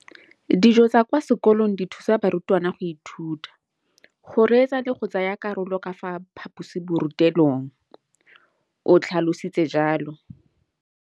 Dijo tsa kwa sekolong dithusa barutwana go ithuta, go reetsa le go tsaya karolo ka fa phaposiborutelong, o tlhalositse jalo.